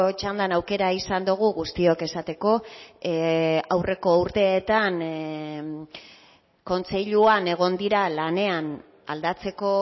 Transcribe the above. txandan aukera izan dugu guztiok esateko aurreko urteetan kontseiluan egon dira lanean aldatzeko